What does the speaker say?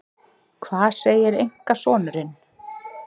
Hvað segir einkasonurinn?